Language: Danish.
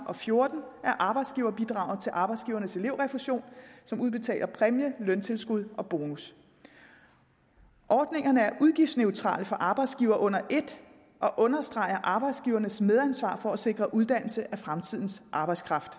og fjorten af arbejdsgiverbidraget til arbejdsgivernes elevrefusion som udbetaler præmie løntilskud og bonus ordningerne er udgiftsneutrale for arbejdsgiverne under et og understreger arbejdsgivernes medansvar for at sikre uddannelse af fremtidens arbejdskraft